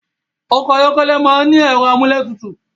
Ọkọ̀ ayọ́kẹ́lẹ̀ máa ń ní ẹ̀rọ amúlétutù